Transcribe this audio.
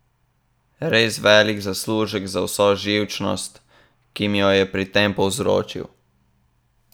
Res velik zaslužek za vso živčnost, ki mi jo je pri tem povzročil.